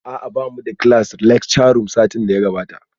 A'a bamu da class a lecture room satin da ya gabata